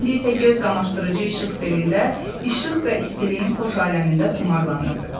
İndi isə göz qamaşdırıcı işıq selində, işıq və istiliyin xoş aləmində xumarlanırdı.